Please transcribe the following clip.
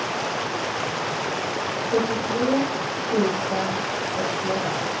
sjuttiotre tusen sextioåtta